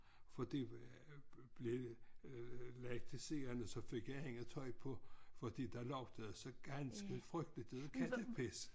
Fordi blev lagt til siden så fik jeg andet tøj på fordi der lugtede så ganske frygteligt af kattepis